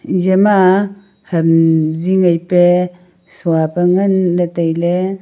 iza ma ham zing ai pe sua pa ngan ley tailey.